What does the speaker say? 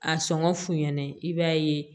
A sɔngɔ f'u ɲɛna i b'a ye